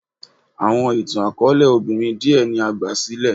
Awọn itan-akọọlẹ obinrin diẹ ni a gbasilẹ